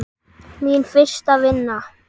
Mín fyrsta vinna.